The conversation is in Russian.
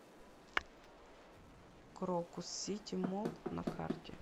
крокус сити молл на карте